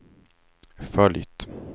följt